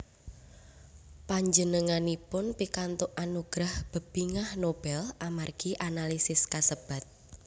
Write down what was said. Panjenenganipun pikantuk anugerah Bebingah Nobel amargi analisis kasebat